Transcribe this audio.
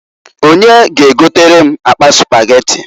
Onye g'egotere m akpa Spageti?